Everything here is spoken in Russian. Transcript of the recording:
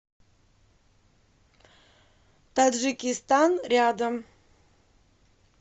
таджикистан рядом